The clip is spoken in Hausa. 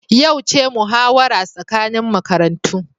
Yau ce muhawara tsakanin makarantu